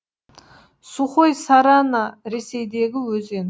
сухой сарана ресейдегі өзен